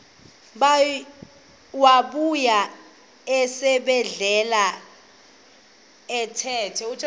wabuya esibedlela ephethe